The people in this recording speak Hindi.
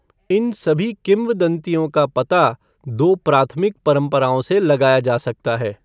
इन सभी किंवदंतियों का पता दो प्राथमिक परंपराओं से लगाया जा सकता है।